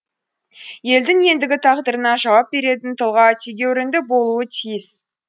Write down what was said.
елдің ендігі тағдырына жауап беретін тұлға тегеурінді болуы тиіс